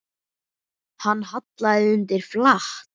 Hann hallaði undir flatt.